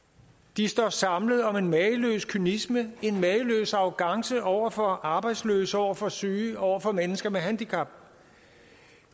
de står samlet om en mageløs kynisme en mageløs arrogance over for arbejdsløse over for syge over for mennesker med handicap